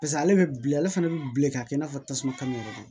Paseke ale bɛ bilen ale fana bɛ bilen k'a kɛ i n'a fɔ tasuma ka yɔrɔ don